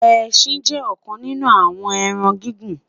ẹsìn jé òkan nínú àwon ẹran gigun